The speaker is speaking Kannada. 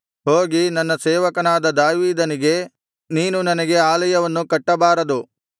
ಹೋಗಿ ನನ್ನ ಸೇವಕನಾದ ದಾವೀದನಿಗೆ ನೀನು ನನಗೆ ಆಲಯವನ್ನು ಕಟ್ಟಬಾರದು